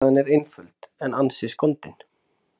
Ástæðan er einföld, en ansi skondin.